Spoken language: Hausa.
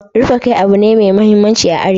Rufe kai abu ne mai muhimmanci a arewa.